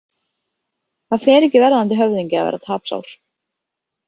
Það fer ekki verðandi höfðingja að vera tapsár.